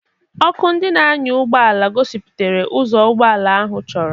Ọkụ ndị na-anya ụgbọ ala gosipụtara ụzọ ụgbọ ala ahụ chọrọ.